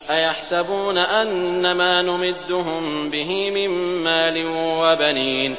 أَيَحْسَبُونَ أَنَّمَا نُمِدُّهُم بِهِ مِن مَّالٍ وَبَنِينَ